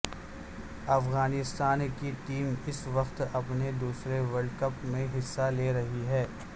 افغانستان کی ٹیم اس وقت اپنے دوسرے ورلڈ کپ میں حصہ لے رہی ہے